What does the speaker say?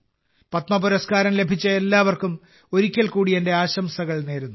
പത്മ പുരസ്കാരം ലഭിച്ച എല്ലാവർക്കും ഒരിക്കൽ കൂടി എന്റെ ആശംസകൾ നേരുന്നു